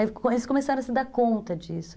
Aí eles começaram a se dar conta disso.